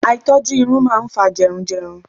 Àìtọ́jú irun máa ń fa jẹrun jẹrun.